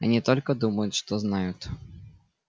они только думают что знают